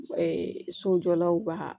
sojɔlaw b'a